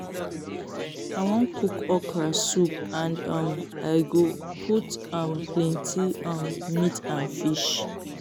I wan cook okra soup and um I go put am plenty um meat and fish